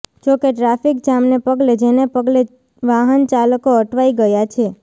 જોકે ટ્રાફિકજામને પગલે જેને પગલે વાહનચાલકો અટવાઇ ગયા છે